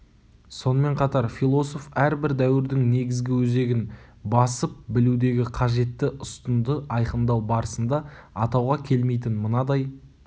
сонымен қатар философ әрбір дәуірдің негізгі өзегін басып білудегі қажетті ұстынды айқындау барысында атауға келмейтін мынадай